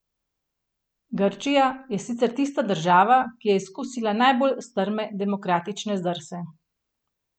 Grčija je sicer tista država, ki je izkusila najbolj strme demokratične zdrse.